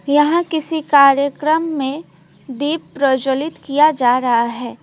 यहां किसी कार्यक्रम में दीप प्रज्वलित किया जा रहा है।